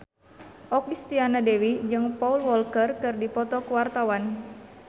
Okky Setiana Dewi jeung Paul Walker keur dipoto ku wartawan